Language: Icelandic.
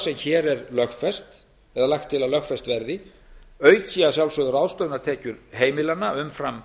sem hér er lagt til að lögfest verði auki að sjálfsögðu ráðstöfunartekjur heimilanna umfram